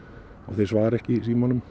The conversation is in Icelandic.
þeir svara ekki símanum